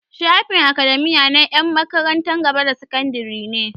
Shafin academia na 'yan makarantar gaba da sakandare ne.